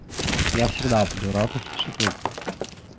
я всегда буду рад услышать твой голос